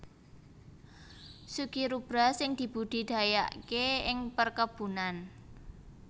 succirubra sing dibudidayaké ing perkebunan